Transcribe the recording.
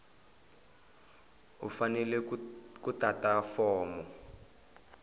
u fanele ku tata fomo